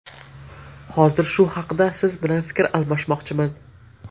Hozir shu haqda siz bilan fikr almashmoqchiman.